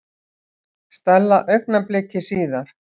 Stella augnabliki síðar.